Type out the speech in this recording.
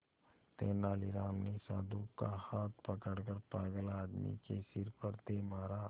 तेनालीराम ने साधु का हाथ पकड़कर पागल आदमी के सिर पर दे मारा